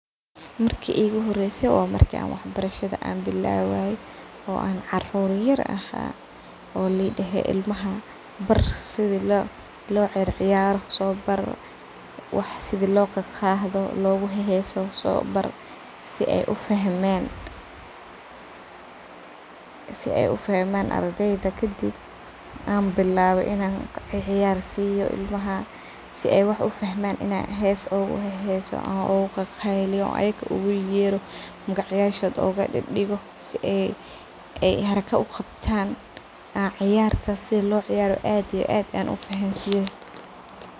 Marki iguhoreyse wa marka wax barasha bilawaye oo an carur aha oo laugudahay iimlaha yaryar bar sidii lociyaro wax sidi loqado oo loheso bar sii ey ufahamn ardeyda kadib waxa bilawe in an uheso sii ey uqeyliyan magac yasho oguyero sii ey harako uqabtan oo ciyarta sidi lociyaro aad iyo aad ufahansiyo.